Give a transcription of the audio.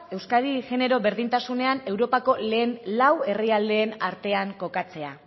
euskadi genero berdintasunean europako lehen lau herrialdeen artean kokatzea